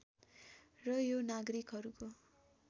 र यो नागरिकहरूको